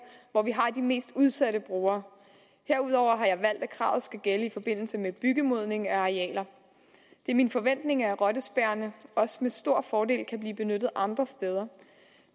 hvor vi har de mest udsatte brugere herudover har jeg valgt at kravet skal gælde i forbindelse med byggemodning af arealer det er min forventning at rottespærrerne også med stor fordel kan blive benyttet andre steder